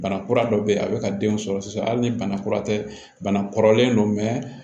Bana kura dɔ bɛ yen a bɛ ka denw sɔrɔ sisan hali ni bana kura tɛ bana kɔrɔlen don